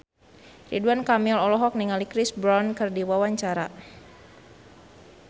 Ridwan Kamil olohok ningali Chris Brown keur diwawancara